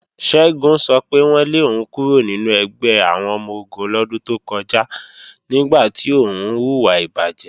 Ṣẹ́gun sọ pé wọ́n lé òun kúrò nínú ẹgbẹ́ àwọn ọmọ-ogun lọ́dún tó kọjá nígbà tí òun hùwà ìbàjé.